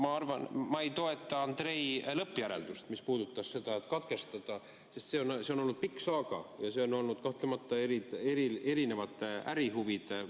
Ma arvan, et ma ei toeta Andrei lõppjäreldust, mis puudutas katkestamist, sest see on olnud pikk saaga ja siin on olnud kahtlemata erinevad ärihuvid mängus.